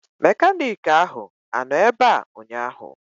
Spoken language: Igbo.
Mekaniiki ahụ anọ ebea ụnyaahụ?